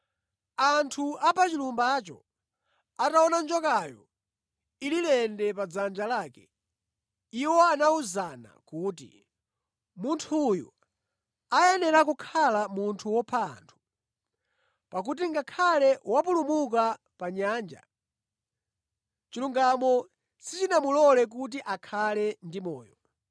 Anthu a pa chilumbacho ataona njokayo ili lende pa dzanja lake, iwo anawuzana kuti, “Munthu uyu akuyenera kukhala munthu wopha anthu; pakuti ngakhale wapulumuka pa nyanja, chilungamo sichinamulore kuti akhale ndi moyo.”